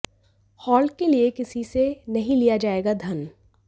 halt के लिए किसी से नहीं लिया जाएगा धन